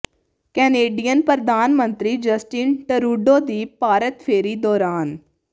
Canadian ਪ੍ਰਧਾਨ ਮੰਤਰੀ Justin Trudeau ਦੀ ਭਾਰਤ ਫੇਰੀ ਦੌਰਾਨ